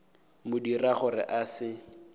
mo dira gore a se